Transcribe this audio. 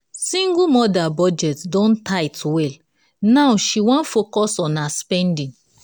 single mother budget don tight well now she won focus on her spending.